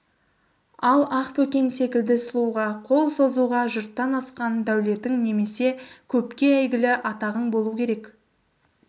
ал ақбөкен секілді сұлуға қол созуға жұрттан асқан дәулетің немесе көпке әйгілі атағың болу керек